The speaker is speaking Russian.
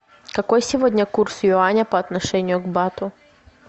какой сегодня курс юаня по отношению к бату